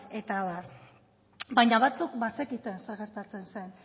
eta abar baina batzuk bazekiten zer gertatzen zen